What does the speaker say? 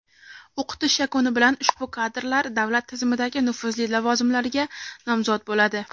O‘qitish yakuni bilan ushbu kadrlar davlat tizimidagi nufuzli lavozimlarga nomzod bo‘ladi.